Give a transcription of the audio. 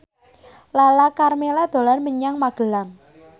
Lala Karmela dolan menyang Magelang